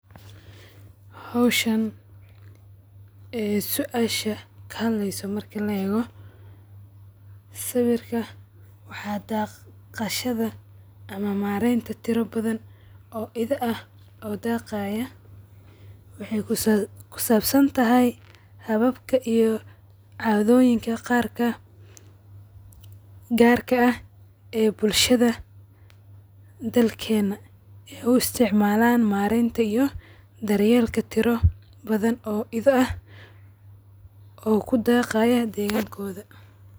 Howshan e suasha kahad leyso marki laego sawarka waxdaqashada ama mareynta tiribadan oo idha ah oo deqayo waxay kusabsantahay hababka iyo cadoyinka garka ab e bulshada dalkena uisticmalan marenta iyo daryelka tiri badan oo idha ah o kudaqaya degankoda.